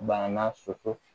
Banna soso